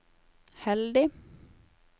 heldig